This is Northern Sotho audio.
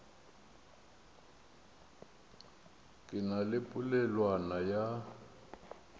ke na le polelwana ya